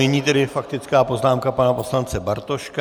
Nyní tedy faktická poznámka pana poslance Bartoška.